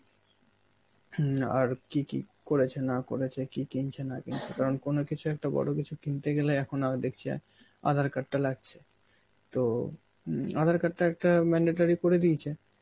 হম আর কি কি করেছে না করেছে, কি কিনছে না কিনছে কারণ কোন কিছু একটা বড় কিছু কিনতে গেলে এখন আ দেখছি আয় আঁধার card টা লাগছে. তো হম আঁধার card টা একটা mandatory করে দিয়েছে